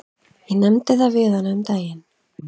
Ég nefndi það við hana um daginn.